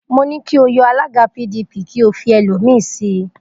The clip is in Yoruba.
Mo ní kí o yọ alága PDP kí ó fi ẹlòmíì sí i.